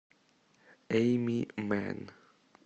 эйми мэнн